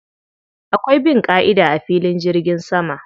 Akwai bin ƙa'ida a filin jirgin sama.